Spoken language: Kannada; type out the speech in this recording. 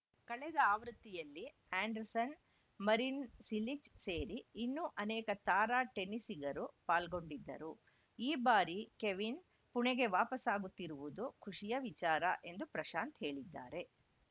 ಕಳೆದ ಆವೃತ್ತಿಯಲ್ಲಿ ಆ್ಯಂಡರ್‌ಸನ್‌ ಮರಿನ್‌ ಸಿಲಿಚ್‌ ಸೇರಿ ಇನ್ನೂ ಅನೇಕ ತಾರಾ ಟೆನಿಸಿಗರು ಪಾಲ್ಗೊಂಡಿದ್ದರು ಈ ಬಾರಿ ಕೆವಿನ್‌ ಪುಣೆಗೆ ವಾಪಸಾಗುತ್ತಿರುವುದು ಖುಷಿಯ ವಿಚಾರ ಎಂದು ಪ್ರಶಾಂತ್‌ ಹೇಳಿದ್ದಾರೆ